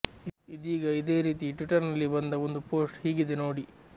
ಇದೀಗ ಇದೇ ರೀತಿ ಟ್ವಿಟರ್ನಲ್ಲಿ ಬಂದ ಒಂದು ಪೋಸ್ಟ್ ಹೀಗಿದೆ ನೋಡಿ